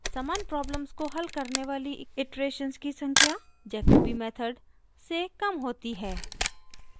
समान प्रॉब्लम को हल करने वाली इटरेशन्स की संख्या jacobi मेथड से कम होती हैं